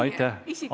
Aitäh!